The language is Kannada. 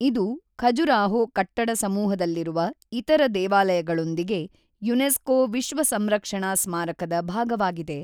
ಇದು ಖಜುರಾಹೊ ಕಟ್ಟಡ ಸಮೂಹದಲ್ಲಿರುವ ಇತರ ದೇವಾಲಯಗಳೊಂದಿಗೆ ಯುನೆಸ್ಕೋ ವಿಶ್ವ ಸಂರಕ್ಷಣಾ ಸ್ಮಾರಕದ ಭಾಗವಾಗಿದೆ.